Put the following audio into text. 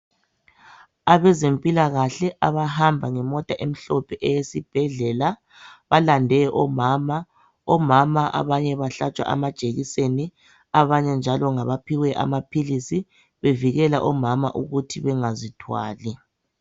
Abezempilakahle abahamba ngemota emhlophe eyesibhedlela balande omama , omama abanye bahlatshwa amajekiseni abanye njalo ngabaphiwe amaphilisi bevikela omama ukuthi bengazithwali.